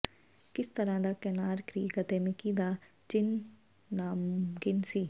ਕਿਸ ਤਰ੍ਹਾਂ ਦਾ ਕੈਨਾਰ ਕ੍ਰੀਕ ਅਤੇ ਮਿਕੀ ਦਾ ਚਿੰਨ੍ਹ ਨਾਮੁਮਕਿਨ ਸੀ